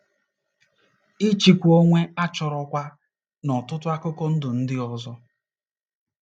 Ịchịkwa onwe a chọrọ kwa n’ọtụtụ akụkụ ndụ ndị ọzọ.